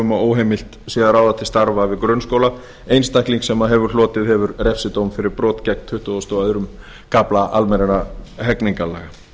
um að óheimilt sé að ráða til starfa við grunnskóla einstakling sem hlotið hefur refsidóm fyrir brot gegn tuttugasta og öðrum kafla almennra hegningarlaga